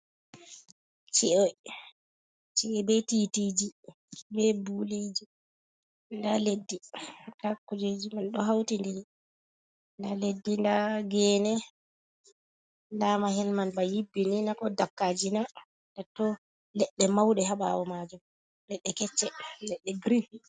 Ci’e, Ci'e be titiji ɓe buliji nda leddi, nda kujeji man ɗo hauti ndiri nda leddi nda gene nda mahi man ba yibbi nina, ko dakkajina dato leɗɗe mauɗe hababal majum leɗɗe kecce leɗɗe girin.